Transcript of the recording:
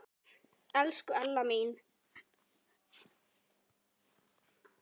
Elsku Ella amma mín.